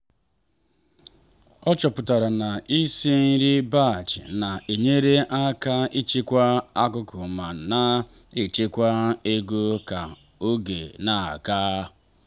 ọ chọpụtara na isi nri batch na-enyere aka ịchịkwa akụkụ ma na-echekwa ego ka oge na-aga.